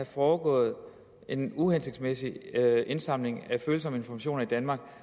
foregået en uhensigtsmæssig indsamling af følsomme informationer i danmark